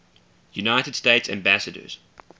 united states ambassadors